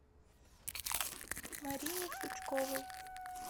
марине сучковой